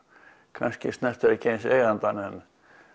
kannski snertir ekki eins eigandann en